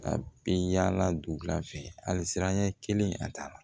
A bɛ yaala dugula fɛ hali siranɲɛ kelen a taa la